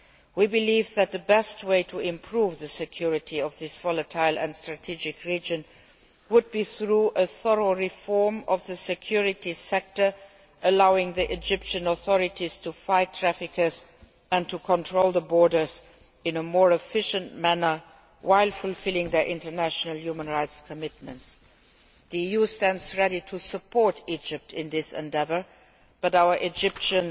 We believe that the best way to improve the security of this volatile and strategic region would be through a thorough reform of the security sector, allowing the Egyptian authorities to fight traffickers and to control the borders in a more efficient manner while fulfilling their international human rights commitments. The EU stands ready to support Egypt in this endeavour, but our Egyptian